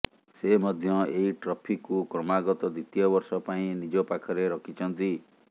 ସେ ମଧ୍ୟ ଏହି ଟ୍ରଫିକୁ କ୍ରମାଗତ ଦ୍ୱିତୀୟ ବର୍ଷ ପାଇଁ ନିଜ ପାଖରେ ରଖିଛନ୍ତି